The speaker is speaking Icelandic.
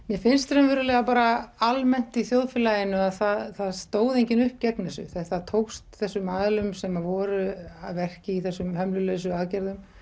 mér finnst raunverulega bara almennt í þjóðfélaginu að það stóð enginn upp gegn þessu þetta tókst þessum aðilum sem voru að verki í þessum hömlulausu aðgerðum